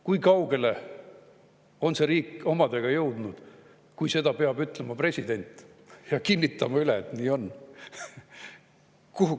Kui kaugele on see riik omadega jõudnud, kui president peab seda ütlema ja kinnitama üle, et nii on.